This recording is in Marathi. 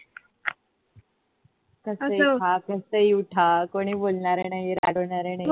कसही खा कसही उठा कोणी बोलणार नाही रागवणार नाही.